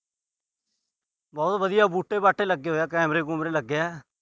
ਬਹੁਤ ਵਧੀਆ ਬੂਟੇ ਬਾਟੇ ਲੱਗੇ ਹੋਏ ਆ। ਕੈਮਰੇ-ਕੁਮਰੇ ਲੱਗੇ ਆ।